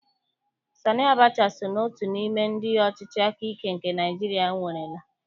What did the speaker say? Sani Abacha so n'otu n'ime ndị ọchịchị akaike nke Naịjirịa nwerela